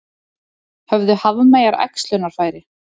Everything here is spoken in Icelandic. Höfðu hafmeyjar æxlunarfæri?